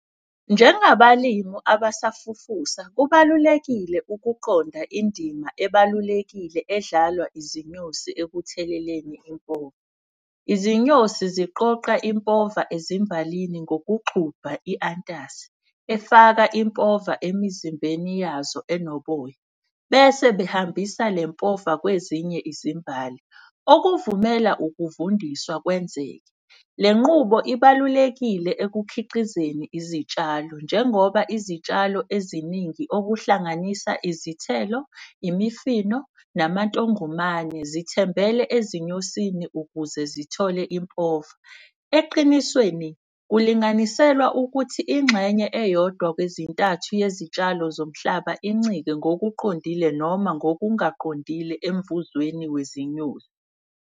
Njengabalimu abasafufusa kubalulekile ukuqonda indima ebalulekile edlalwa izinyosi ekutheleleni impova. Izinyosi ziqoqa impova ezimbalini ngokuthi gxubha i-antas, efaka impova emizimbeni yazo enoboya. Bese behambisa lempova kwezinye izimbali okuvumela ukuvundiswa kwenzeke. Le nqubo ibalulekile ekukhiqizeni izitshalo njengoba izitshalo eziningi okuhlanganisa izithelo, imifino, namantongomane zithembele ezinyosini ukuze zithole impova. Eqinisweni kulinganiselwa ukuthi ingxenye eyodwa kwezintathu yezitshalo zomhlaba incike ngokuqondile noma ngokungaqondile emvuzweni wezinyosi.